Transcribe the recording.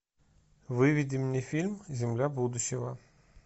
выведи мне фильм земля будущего